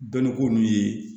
Bɛnni ko nunnu ye